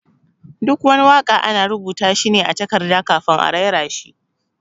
Duk wani waka ana rubuta shi ne a takarda kafin a raira shi.